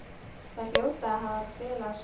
Þær hljóta að hafa bilast!